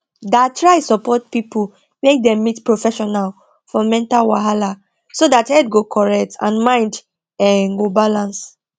da try support people make dem meet professional for mental wahala so that head go correct and mind um go balance